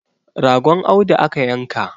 ragon Audu aka yanka